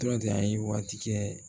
Dɔrɔn de a ye waati kɛ